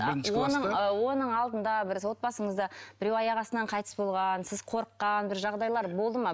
а оның ы оның алдында біраз отбасыңызда біреу аяқ астынан қайтыс болған сіз қорыққан бір жағдайлар болды ма